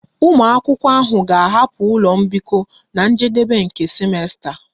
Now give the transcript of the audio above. Ụmụ akwụkwọ ahụ ga-ahapụ ụlọ mbikọ na njedebe nke simesta